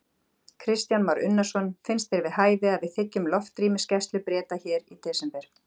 Kristján Már Unnarsson: Finnst þér við hæfi að við þiggjum loftrýmisgæslu Breta hér í desember?